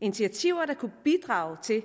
initiativer der kunne bidrage til